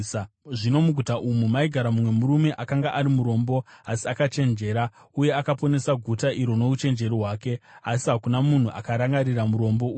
Zvino muguta umu maigara mumwe murume akanga ari murombo asi akachenjera, uye akaponesa guta iri nouchenjeri hwake. Asi hakuna munhu akarangarira murombo uya.